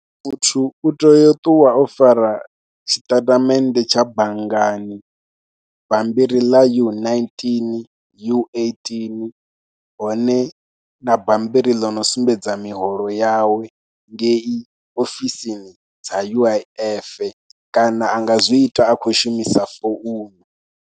Muthu u tea u ṱuwa o fara tshiṱatamennde tsha banngani, bammbiri ḽa U nineteen, U eighteen hone na bambiri ḽi no sumbedza miholo yawe ngei ofisini dza U_I_F kana a nga zwi ita a khou shumisa founu.